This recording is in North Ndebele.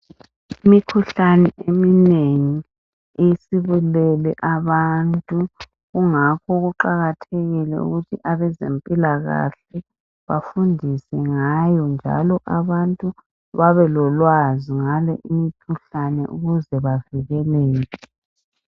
Imikhuhlane eminengi isibulele abantu. Kungakho kuqakathekile ukuthi abezempilakahle bafundise ngayo njalo abantu babe lolwazi ngale imkhuhlane ukuze bavikeleke.